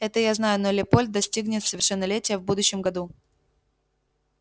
это я знаю но лепольд достигнет совершеннолетия в будущем году